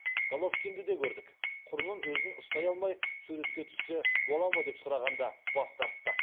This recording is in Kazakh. головкинді де көрдік құрбым өзін ұстай алмай суретке түссе бола ма деп сұрағанда бас тартты